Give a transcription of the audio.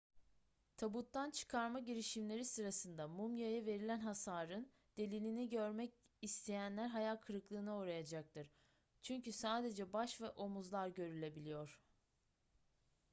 tabuttan çıkarma girişimleri sırasında mumyaya verilen hasarın delilini görmek isteyenler hayal kırıklığına uğrayacaktır çünkü sadece baş ve omuzlar görülebiliyor